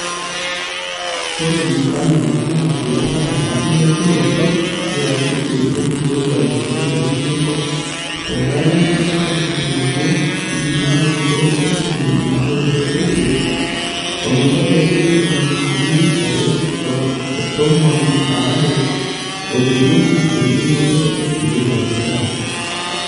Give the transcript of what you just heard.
Ore mfano ena kias naa enkilepunotot yaakiti enkirowuaj olchoni lenkop tolari lenkalifu nabo iip naaudo ontomoni naaudo oisiet ometabaiki nkalifuni are otomon aare otejoki endungoto enkirowuaj enkop.